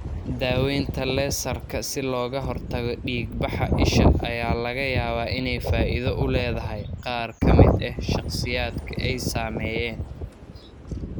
Daaweynta laser-ka si looga hortago dhiig-baxa isha ayaa laga yaabaa inay faa'iido u leedahay qaar ka mid ah shakhsiyaadka ay saameeyeen.